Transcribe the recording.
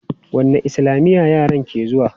Wanne islamiya yaran ka ke zuwa?